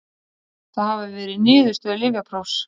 Það hafi verið niðurstöður lyfjaprófs